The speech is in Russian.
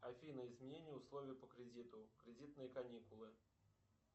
афина изменение условий по кредиту кредитные каникулы